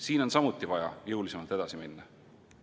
Siin on samuti vaja jõulisemalt edasi minna.